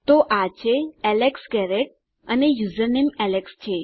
તો આ છે એલેક્સ ગેરેટ અને યુઝરનેમ એલેક્સ છે